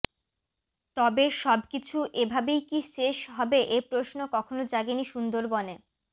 তবে সব কিছু এভাবেই কি শেষ হবে এ প্রশ্ন কখনো জাগেনি সুন্দরবনে